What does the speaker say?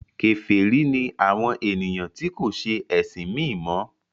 kèfèrí ni àwọn ènìyàn tí kò se ẹsìn mí mọ.